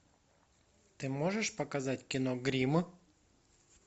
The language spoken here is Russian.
ты можешь показать кино гримм